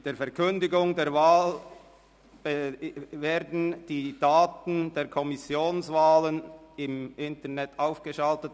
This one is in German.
Mit der Verkündigung der Wahl werden die Daten der Kommissionswahlen im Internet aufgeschaltet.